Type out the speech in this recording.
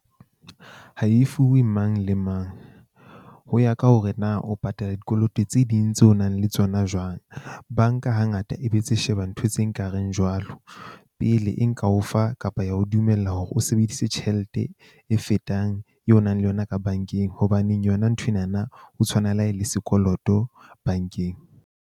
Ha e fuwe mang le mang ho ya ka hore na o patala dikoloto tse ding tseo o nang le tsona jwang. Bank-a hangata e be tse sheba ntho tse nkareng jwalo, pele e nka o fa kapa ya ho dumella hore o sebedise tjhelete e fetang eo o nang le yona ka bank-eng. Hobaneng yona nthwena na ho tshwana le ha e le sekoloto bank-eng.